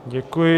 Děkuji.